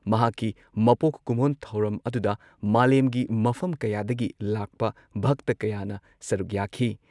ꯃꯍꯥꯛꯀꯤ ꯃꯄꯣꯛ ꯀꯨꯝꯑꯣꯟ ꯊꯧꯔꯝ ꯑꯗꯨꯗ ꯃꯥꯂꯦꯝꯒꯤ ꯃꯐꯝ ꯀꯌꯥꯗꯒꯤ ꯂꯥꯛꯄ ꯚꯛꯇ ꯀꯌꯥꯅ ꯁꯔꯨꯛ ꯌꯥꯈꯤ ꯫